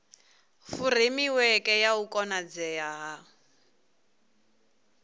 furemiweke ya u konadzea ha